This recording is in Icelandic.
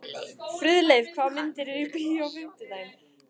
Friðleif, hvaða myndir eru í bíó á fimmtudaginn?